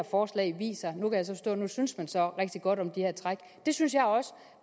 forstå at nu synes man så rigtig godt om det her træk det synes jeg også